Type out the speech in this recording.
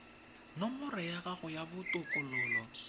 nomoro ya gago ya botokololo